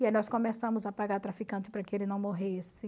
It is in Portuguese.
E aí nós começamos a pagar traficante para que ele não morresse.